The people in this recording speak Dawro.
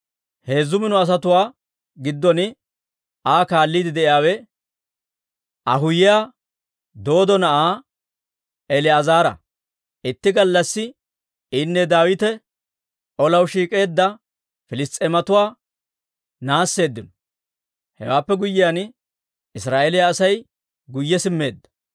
Heezzu mino asatuwaa giddon Aa kaalliide de'iyaawe Ahoohiyaa Dooddo na'aa El"aazara. Itti gallassi inne Daawite olaw shiik'eedda Piliss's'eematuwaa naasseeddino; hewaappe guyyiyaan, Israa'eeliyaa Asay guyye simmeedda.